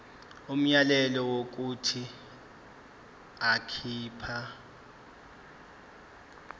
umyalelo wokuthi akhipha